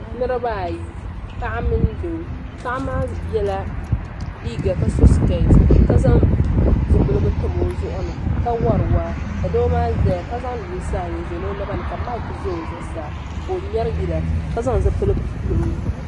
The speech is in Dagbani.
Niribaa ayi paɣa mini doo paɣa maa yɛla liega ka so sket ka ƶanŋ ƶipɛlgu tam O ƶʋgʋ ni ka wari waa ka doo maa ƶaya ka ƶanŋ lunsaa ayi n sonŋ O nabani ka mik ƶa o ƶuɣu saa ka o ŋmɛri yila ka ƶanŋ ƶipɛlgu pɛli o ƶuɣʋ.